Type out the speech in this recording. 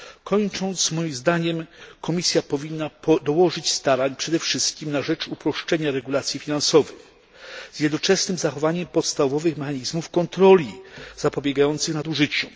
Kończąc, moim zdaniem, Komisja powinna dołożyć starań przede wszystkim na rzecz uproszczenia regulacji finansowych z jednoczesnym zachowaniem podstawowych mechanizmów kontroli zapobiegającym nadużyciu.